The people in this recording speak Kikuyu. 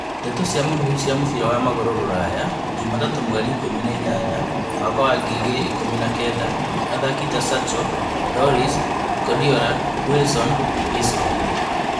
Ndeto cia mũhuhu cia mũbira wa magũrũ Rũraya juma tatũ mweri ikũmi na inyanya mwaka wa ngiri igĩrĩ ikũmi na kenda athaki ta Sancho, Lloris, Guardiola, Wilson, Isco